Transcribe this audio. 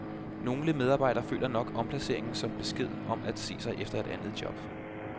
Nogle medarbejdere føler nok omplaceringerne som besked om at se sig om efter et andet job.